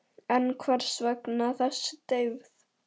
En hvers vegna þessi deyfð?